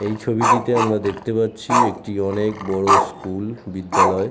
এই ছবিটিতে আমরা দেখতে পাচ্ছি একটি অনেক বড়ো স্কুল বিদ্যালয়।